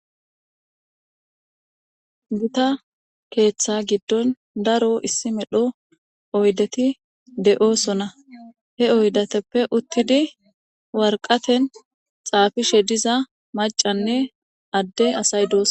Guta keeththa giddon daro issi medho oydeti de'oosona he oydateppe uttidi warqaten xaafishe diza macanne adde asay doos.